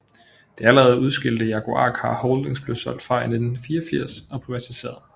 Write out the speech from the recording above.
Det allerede udskilte Jaguar Car Holdings blev solgt fra i 1984 og privatiseret